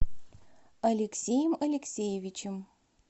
алексеем алексеевичем